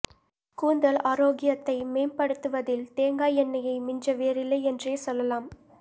கூந்தல் ஆரோக்கியத்தை மேம்படுத்து வதில் தேங்காய் எண்ணெயை மிஞ்ச வேறில்லை என்றே சொல்லலாம்